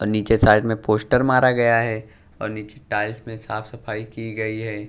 और नीचे साइड में पोस्टर मारा गया है और नीचे टाइल्स में साफ सफाई की गई है।